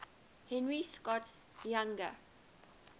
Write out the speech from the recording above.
henry scott's younger